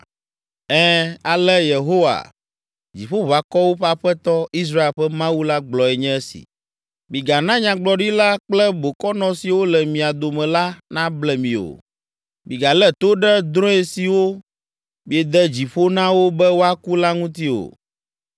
Ɛ̃, ale Yehowa, Dziƒoʋakɔwo ƒe Aƒetɔ, Israel ƒe Mawu la gblɔe nye esi: “Migana Nyagblɔɖila kple bokɔnɔ siwo le mia dome la nable mi o. Migalé to ɖe drɔ̃e siwo miede dzi ƒo na wo be woaku la ŋuti o.